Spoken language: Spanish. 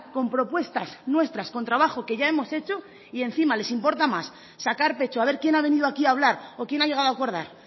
con propuestas nuestras con trabajo que ya hemos hecho y encima les importa más sacar pecho a ver quién ha venido aquí a hablar o quién ha llegado a acordar